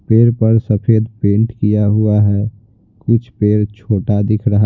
पेड़ पर सफेद पेंट किया हुआ है कुछ पेड़ छोटा दिख रहा है।